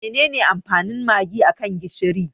Menene amfanin Magi a kan gishiri?